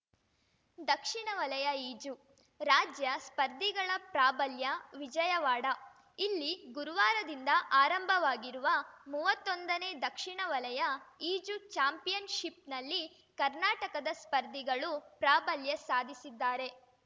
ದಕ್ಷಿಣ ವಲಯ ಈಜು ರಾಜ್ಯ ಸ್ಪರ್ಧಿಗಳ ಪ್ರಾಬಲ್ಯ ವಿಜಯವಾಡ ಇಲ್ಲಿ ಗುರುವಾರದಿಂದ ಆರಂಭವಾಗಿರುವ ಮೂವತ್ತೊಂದನೇ ದಕ್ಷಿಣ ವಲಯ ಈಜು ಚಾಂಪಿಯನ್‌ಶಿಪ್‌ನಲ್ಲಿ ಕರ್ನಾಟಕದ ಸ್ಪರ್ಧಿಗಳು ಪ್ರಾಬಲ್ಯ ಸಾಧಿಸಿದ್ದಾರೆ